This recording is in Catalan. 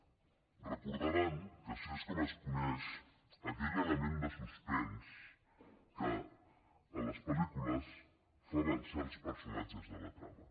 deuen recordar que així és com es coneix aquell element de suspens que en les pel·lícules fa avançar els personatges en la trama